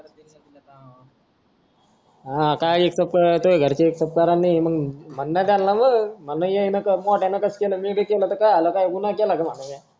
हां का इतकं पाळतो घरचे एक उपकार नाही म्हण ना त्याला मग मोठ्याने केला तर मी बी केलं तर काय गुन्हा केला काय भडव्या